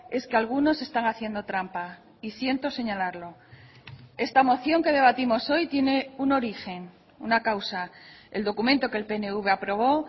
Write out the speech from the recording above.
es que algunos están haciendo trampa y siento señalarlo esta moción que debatimos hoy tiene un origen una causa el documento que el pnv aprobó